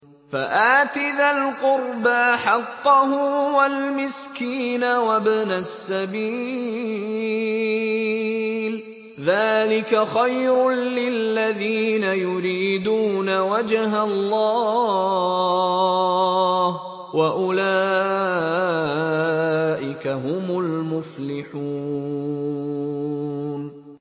فَآتِ ذَا الْقُرْبَىٰ حَقَّهُ وَالْمِسْكِينَ وَابْنَ السَّبِيلِ ۚ ذَٰلِكَ خَيْرٌ لِّلَّذِينَ يُرِيدُونَ وَجْهَ اللَّهِ ۖ وَأُولَٰئِكَ هُمُ الْمُفْلِحُونَ